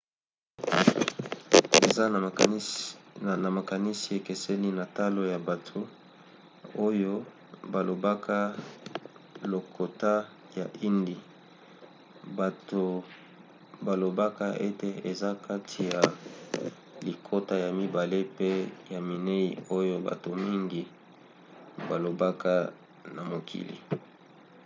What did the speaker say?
eza na makanisi ekeseni na talo ya bato oyo balobaka lokota ya hindi. bato balobaka ete eza kati ya lokota ya mibale pe ya minei oyo bato mingi balobaka na mokili